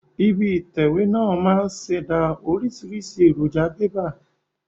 Ibi ìtẹ̀wé náà máa ń ṣẹ̀dá oríṣiríṣi èròjà bébà